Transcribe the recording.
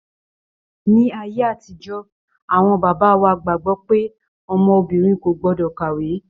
Ní ayé àtijọ́ awọn bàbá wa gbàgbọ́ pé ọmọ obìnrin kò gbọ́dọ̀ kàwé.